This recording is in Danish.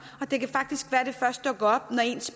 og det kan faktisk være at det først dukker op når ens